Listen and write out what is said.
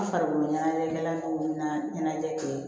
N farikolo ɲɛnajɛw na ɲɛnajɛ kɛ